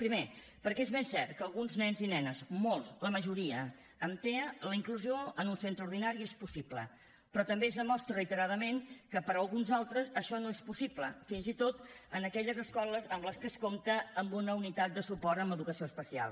primer perquè és ben cert que per alguns nens i nenes molts la majoria amb tea la inclusió en un centre ordinari és possible però també es demostra reiteradament que per alguns altres això no és possible fins i tot en aquelles escoles en les que es compta amb una unitat de suport en educació especial